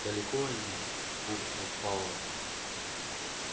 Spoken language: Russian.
далеко они буркнул пауэлл